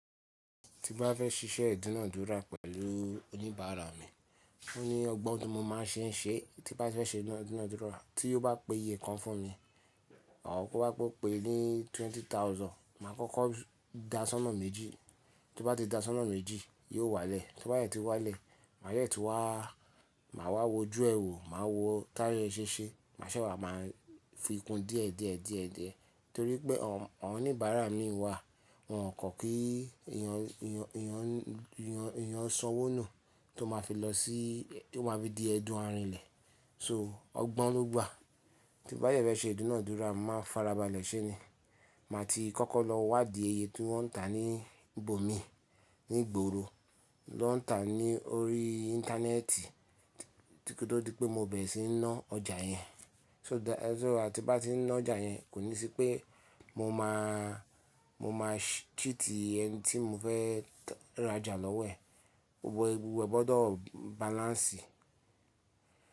Tí bá fẹ́ ṣíṣẹ́ ìdúnàádúrà pẹ̀lú oníbàárà mi, ó ní ọgbọ́n tí mo máa ṣe ń ṣe, tí bá fẹ́ ṣe ìdúnàádúrà tí yóò bá pe iye kan fún mi. Àwọ̀ kó bá pé ó pe ní twenty thousand, màá kọ́kọ́ dá a sọ́nà méjì. Tí ó bá ti dá a sọ́nà méjì, yóò wálẹ̀. Tó bá dẹ̀ tí wá lẹ̀, màá yẹ́ ti wá, màá wá wo ojú ẹ wò, màá wo táyé ẹ ṣéṣe, màá ṣẹ̀ wá máa fi kun díẹ̀, díẹ̀, díẹ̀, díẹ̀ torí pé àwọn oníbàárà mi wà. Wọn kò kí èèyàn, èèyàn, èèyàn, èèyàn sanwó nù tó máa fi lọ sí, tó máa fi di ẹdun ààrin ilẹ̀. So ọgbọ́n ló gbà. Tí bá dẹ̀ fẹ́ ṣe ìdúnàádúrà, màá farabalẹ̀ ṣé ni. Màá ti kọ́kọ́ lọ wádì iye tí wọ́n ń tà ní ìbò mi, ní ìgboro, ló ń tà á ní orí íńtánẹ́ẹ̀tì, títí tó di pé mo bẹ̀ síi ná ọjà yẹn. So dá, so àti bá ti ná ọjà yẹn, kò ní sí pé mo máa, mo máa cheat iye ẹni tí mo fẹ́ rajà lọ́wẹ̀. Ó gbọ́dọ̀ balance.